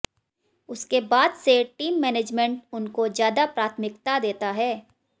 उसके बाद से टीम मैनेंजमेंट उनको ज्यादा प्राथमिकता देता है